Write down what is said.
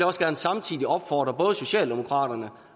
også gerne samtidig opfordre både socialdemokratiet